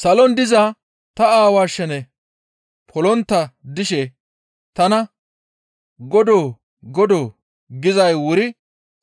«Salon diza ta Aawaa shene polontta dishe tana, ‹Godoo! Godoo!› gizay wuri